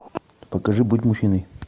покажи будь мужчиной